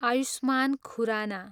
Ayushman Khurana